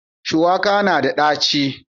Shuwaka na da ɗaci.